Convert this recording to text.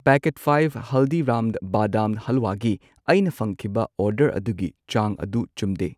Packet five ꯍꯜꯗꯤꯔꯥꯝ ꯕꯥꯗꯥꯝ ꯍꯜꯋꯥꯒꯤ ꯑꯩꯅ ꯐꯪꯈꯤꯕ ꯑꯣꯔꯗꯔ ꯑꯗꯨꯒꯤ ꯆꯥꯡ ꯑꯗꯨ ꯆꯨꯝꯗꯦ꯫